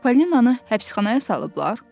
Çippolinanı həbsxanaya salıblar?